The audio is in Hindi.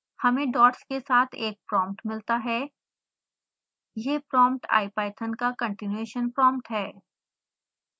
हमें डॉट्स के साथ एक prompt मिलता है